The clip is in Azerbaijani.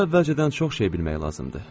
Burada əvvəlcədən çox şey bilmək lazımdır.